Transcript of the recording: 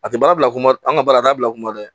A tɛ baara bila kun ma an ka baara dabila kuma dɛ